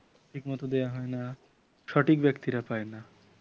ঠিকমতো দেওয়া হয় না সঠিক ব্যক্তিরা পায়না